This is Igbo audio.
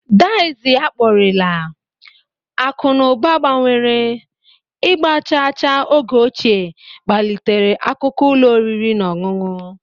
Dizi akpọrela, akụ na ụba gbanwere, ịgba chaa chaa oge ochie kpalitere akụkọ ụlọ oriri na ọṅụṅụ.